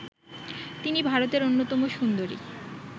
তিনি ভারতের অন্যতম সুন্দরী